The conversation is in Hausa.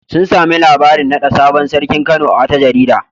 Sun sami labarin naɗa sabon sarkin Kano a wata jarida.